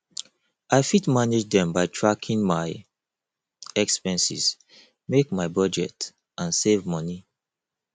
i fit manage dem by tracking my expenses make my budget and save money